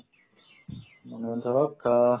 মানে ধৰক অহ্